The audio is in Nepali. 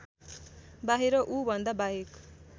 बाहिर ऊभन्दा बाहेक